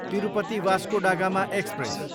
Tirupati, Vasco da Gama express